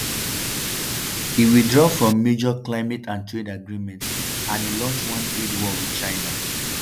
e withdraw from major climate and trade agreements and e launch one trade war wit china.